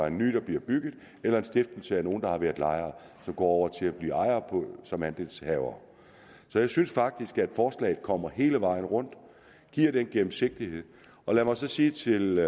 en ny der bliver bygget eller en stiftelse hvor nogle der har været lejere så går over til at blive ejere som andelshavere så jeg synes faktisk forslaget kommer hele vejen rundt og giver en gennemsigtighed lad mig så sige til